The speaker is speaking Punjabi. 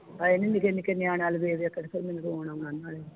ਹਏ ਨੀ ਨਿੱਕੇ ਨਿੱਕੇ ਨਿਆਣਿਆ ਵੱਲ ਵੇਖ ਵੇਖ ਕੇ ਮੈਨੂੰ ਰੋਣ ਆਉਣਾ ਨਾਲੇ